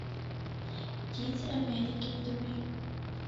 птицы америки вруби